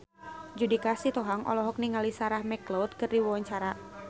Judika Sitohang olohok ningali Sarah McLeod keur diwawancara